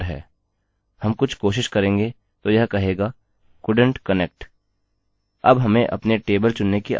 अब हमें अपने टेबल चुनने की आवश्यकता है माफ कीजिए अपना डेटाबेस